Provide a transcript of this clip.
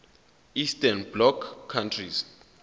eastern bloc countries